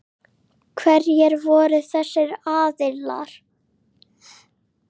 Hverjir voru þessir aðilar?